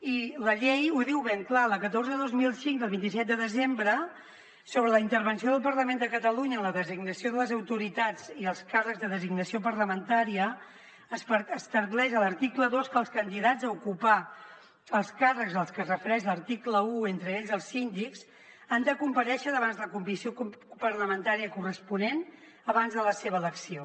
i la llei ho diu ben clar la catorze dos mil cinc del vint set de desembre sobre la intervenció del parlament de catalunya en la designació de les autoritats i els càrrecs de designació parlamentària estableix a l’article dos que els candidats a ocupar els càrrecs als que es refereix l’article un entre ells els síndics han de comparèixer davant la comissió parlamentària corresponent abans de la seva elecció